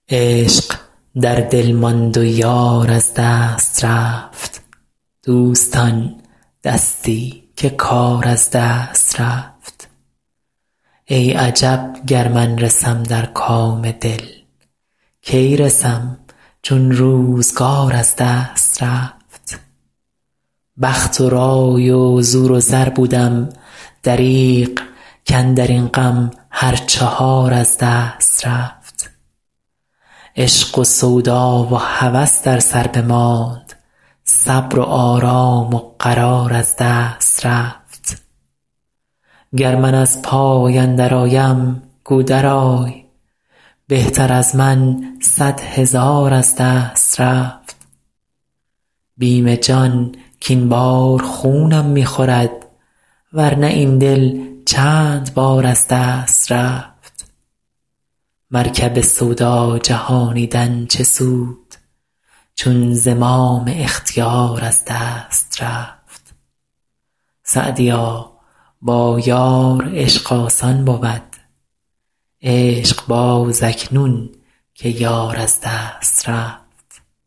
عشق در دل ماند و یار از دست رفت دوستان دستی که کار از دست رفت ای عجب گر من رسم در کام دل کی رسم چون روزگار از دست رفت بخت و رای و زور و زر بودم دریغ کاندر این غم هر چهار از دست رفت عشق و سودا و هوس در سر بماند صبر و آرام و قرار از دست رفت گر من از پای اندرآیم گو درآی بهتر از من صد هزار از دست رفت بیم جان کاین بار خونم می خورد ور نه این دل چند بار از دست رفت مرکب سودا جهانیدن چه سود چون زمام اختیار از دست رفت سعدیا با یار عشق آسان بود عشق باز اکنون که یار از دست رفت